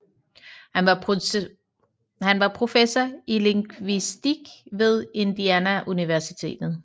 Han var professor i lingvistik ved Indiana Universitet